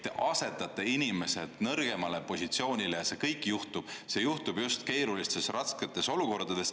Te asetate inimesed nõrgemale positsioonile ja see kõik juhtub just keerulistes, rasketes olukordades.